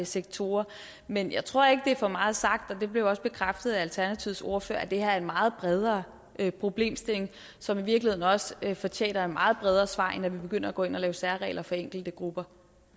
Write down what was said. sektorer men jeg tror ikke det er for meget sagt og det blev også bekræftet af alternativets ordfører at det her er en meget bredere problemstilling som i virkeligheden også fortjener et meget bredere svar end at vi begynder at gå ind og lave særregler for enkelte grupper